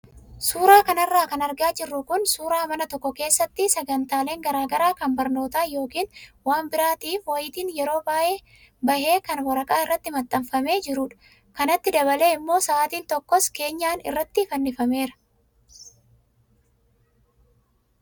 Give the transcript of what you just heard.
Suuraa kanarra kan argaa jirru kun suuraa mana tokko keessatti sagantaaleen garaagaraa kan barnootaa yookaan waan biraatiif wayitiin yeroo bahee kan waraqaa irratti maxxanfamee jirudha. Kanatti dabalee immoo sa'aatiin tokkos keenyan irratti fannifameera.